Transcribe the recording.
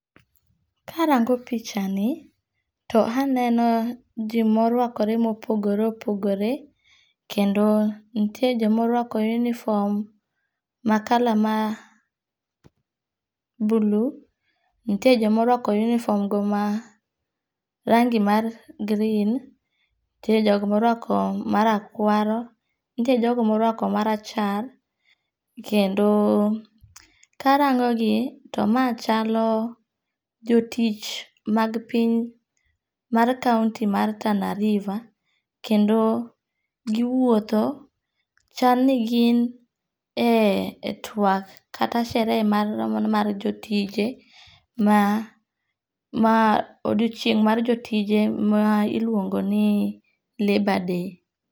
Karango pichani, to aneno ji morwakore ma opogore opogore kendo nitie joma orwako uniform ma color ma blue, nitie joma orwako uniform go ma rangi mar green, nitie joma orwako marakwaro, nitie jogo moruako marachar, kendo karangogi to mae chalo jo tich mag piny mar county mar Tana river, kendo giwuotho chalni gin e twak kata sherehe mar jotije ma odiochieng mar jotije ma iluongo' ni labour day.